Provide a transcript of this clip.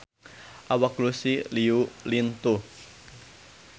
Awak Lucy Liu lintuh